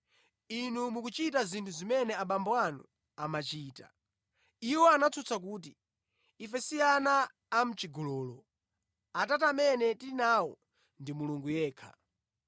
Inu mukuchita zinthu zimene abambo anu amachita.” Iwo anatsutsa kuti, “Ife si ana amʼchigololo, Atate amene tili nawo ndi Mulungu yekha.”